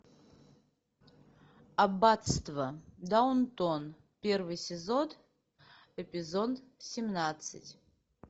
аббатство даунтон первый сезон эпизод семнадцать